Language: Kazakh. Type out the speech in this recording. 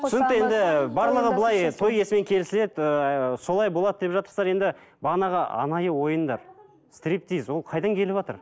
түсінікті енді барлығы былай той иесімен келісіледі ыыы солай болады деп жатырсыздар енді бағанағы анайы ойындар стриптиз ол қайдан келіватыр